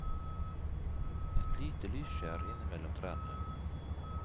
Et lite lysskjær inne mellom trærne.